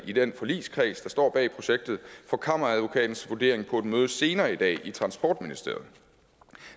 i den forligskreds der står bag projektet for kammeradvokatens vurdering på et møde senere i dag i transportministeriet